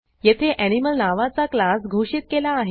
येथे एनिमल नावाचा क्लास घोषित केला आहे